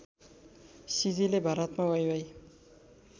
सिजीले भारतमा वाइवाइ